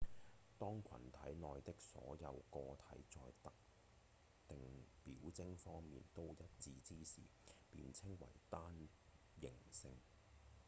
當群體內的所有個體在特定表徵方面都一致之時便稱為單型性